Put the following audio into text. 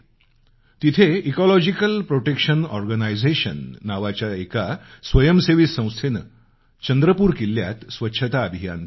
तिथं ecological protection organisation नावाच्या एका स्वयंसेवी संस्थेनं चंद्रपूर किल्ल्यात स्वच्छता अभियान केलं